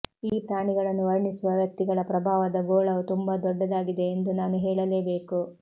ಈ ಪ್ರಾಣಿಗಳನ್ನು ವರ್ಣಿಸುವ ವ್ಯಕ್ತಿಗಳ ಪ್ರಭಾವದ ಗೋಳವು ತುಂಬಾ ದೊಡ್ಡದಾಗಿದೆ ಎಂದು ನಾನು ಹೇಳಲೇಬೇಕು